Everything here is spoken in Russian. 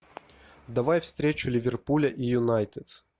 давай встречу ливерпуля и юнайтед